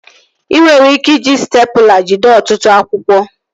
Ị nwere ike iji stepụla jide ọtụtụ akwụkwọ